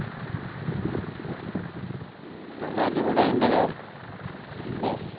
ഉം നല്ല അടിപൊളി ആയിട്ടുണ്ട് അല്ലെ